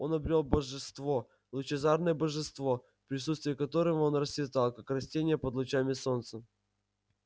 он обрёл божество лучезарное божество в присутствии которого он расцветал как растение под лучами солнца